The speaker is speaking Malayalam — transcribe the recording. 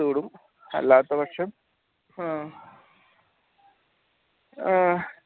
അല്ലാത്തപക്ഷം അഹ് ആഹ്